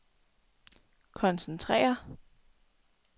koncentrere